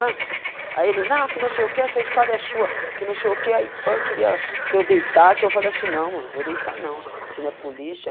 Ah aí ele, não, que não sei o que, essa escada é sua, que não sei o que, aí, pã, queria que eu deitasse, eu falei assim, não mano, vou deitar não, você não é polícia,